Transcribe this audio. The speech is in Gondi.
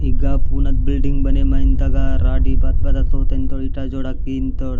ईगा पुनद बिल्डिंग बने माइनता तगा राड़ी बात बता तोत इन्ता इटा जोड़ा किमुन्तोड़ --